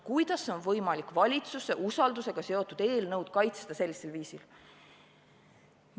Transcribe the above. Kuidas on võimalik valitsuse usaldusega seotud eelnõu sellisel viisil kaitsta?